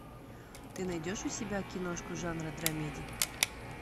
ты найдешь у себя киношку жанра драмеди